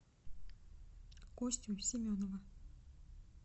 костю семенова